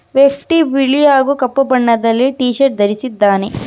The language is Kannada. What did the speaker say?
ಫಿಫ್ಟಿ ಬಿಳಿ ಹಾಗೂ ಕಪ್ಪು ಬಣ್ಣದಲ್ಲಿ ಟೀ-ಶರ್ಟ್ ಧರಿಸಿದ್ದಾನೆ.